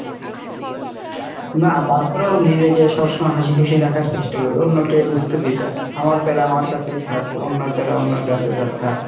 না তারপরেও নিজেকে সবসময় হাসিখুশি রাখার চেষ্টা করি অন্যকে বুজতে দেই না, আমার প্যারা আমার কাছেই থাক, অন্যের প্যারা অন্যের কাছে যাক থাক।